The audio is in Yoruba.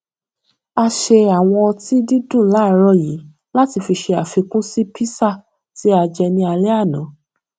a ṣe àwọn ọtí dídùn láàárò yìí láti fi ṣe àfikún sí písà tí a jẹ ní álé àná